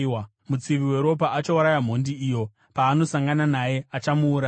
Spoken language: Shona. Mutsivi weropa achauraya mhondi iyo; paanosangana naye, achamuuraya.